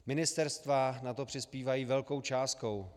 Ministerstva na to přispívají velkou částkou -